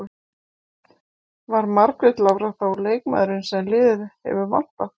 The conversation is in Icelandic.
Var Margrét Lára þá leikmaðurinn sem liðið hefur vantað?